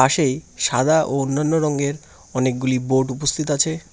পাশেই সাদা ও অন্যান্য রঙের অনেকগুলি বোর্ড উপস্থিত আছে।